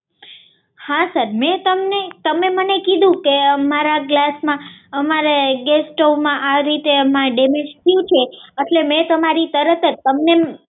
હા સર મેં તમને તમે મને કીધું એટલે કે મારા ગ્લાસમાં અમારા ગેસ સ્ટોવમાં આ રીતે ડેમેજ થયું છે એટલે મેં તમારી તરત જ